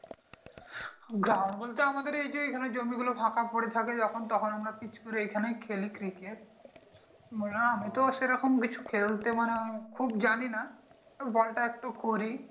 ground বলতে ঐ আমাদের এইযে এইখানে জমিগুলো ফাঁকা পরে থাকে যখন তখন আমরা পীচ করে আমরা এইখানেই খেলি ক্রিকেট না আমিতো সেরকম কিছু খেলতে মানে খুব জানিনা তো বলটা একটু করি